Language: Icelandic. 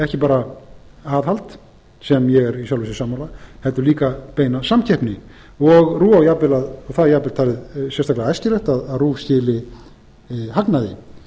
ekki bara aðhald sem ég er í sjálfu sér sammála heldur líka beina samkeppni það er jafnvel talið sérstaklega æskilegt að rúv skili hagnaði